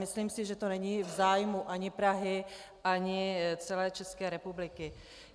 Myslím si, že to není v zájmu ani Prahy ani celé České republiky.